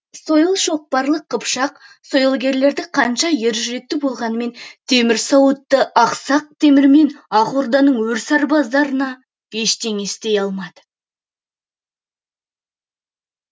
сойыл шоқпарлы қыпшақ сойылгерлері қанша ер жүректі болғанмен темір сауытты ақсақ темір мен ақ орданың өр сарбаздарына ештеңе істей алмады